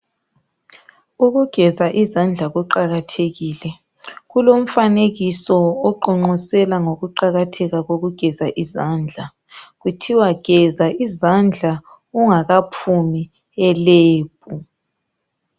Ukugeza izandla kuqakathekile. Kulomfanekiso oqonqosela ngokuqakatheka kokugeza izandla, kuthiwa geza izandla ungakaphumi elebhu.